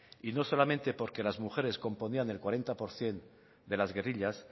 y no solamente porque las mujeres componían el cuarenta por ciento de las guerrillas